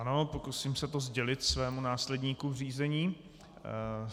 Ano, pokusím se to sdělit svému následníku v řízení.